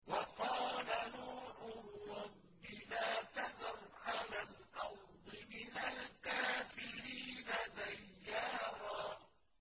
وَقَالَ نُوحٌ رَّبِّ لَا تَذَرْ عَلَى الْأَرْضِ مِنَ الْكَافِرِينَ دَيَّارًا